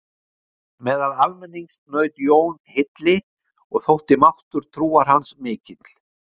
Meðal almennings naut Jón hylli og þótti máttur trúar hans mikill.